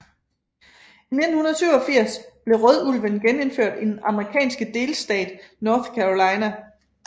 I 1987 blev rødulven genindført i den amerikanske delstat North Carolina